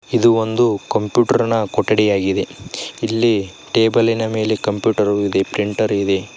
ಇದು ಒಂದು ಕಂಪ್ಯೂಟರ್ನ ಕೊಠಡಿಯಾಗಿದೆ ಇಲ್ಲಿ ಟೇಬಲಿನ ಮೇಲೆ ಕಂಪ್ಯೂಟರ್ ಇದೆ ಪ್ರಿಂಟರ್ ಇದೆ.